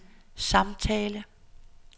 samtale